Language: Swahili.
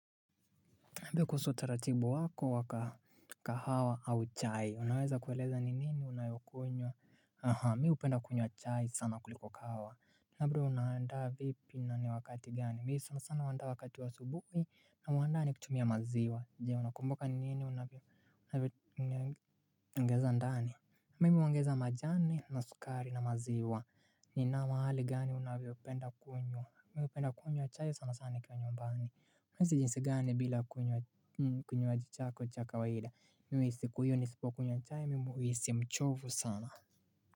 Pia kuhusu utaratibu wako wa kahawa au chai. Unaweza kueleza ni nini unayokunywa. Mi hupenda kunywa chai sana kuliko kahawa. Labda unaandaa vipi na ni wakati gani. Mimi sanasana huandaa wakati wa subuhi na huandaa nikitumia maziwa. Jee unakumbuka ni nini unavyoongeza ndani. Mimi huongeza majani na sukari na maziwa. Ni mahali gani unapopenda kunywa. Mimi napenda kunywa chai sanasana nikiwa nyumbani. Unahisi jinsi gani bila kunywa kinywaji chako cha kawaida? Mimi siku hiyo nisipokunywa chai mimi huhisi mchovu sana.